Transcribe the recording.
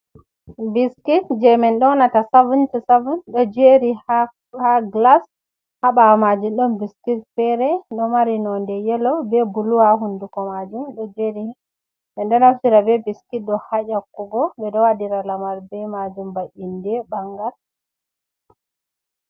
Biskit je min donata 7to7. Ɗo jeri ha glas. Haɓawo majum don biskit fere do mari nonde yelo, be buluwa hunduko majum ɗojeri. Ɗonaftira be biskit ɗo haƴakugo, be do wadira lamar be majum ba inde, ɓangal.